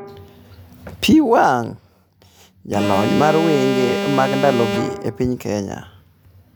Pi wang': Jalony mar wende mag ndalogi e piny Kenya